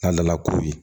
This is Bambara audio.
N'a nana kuru ye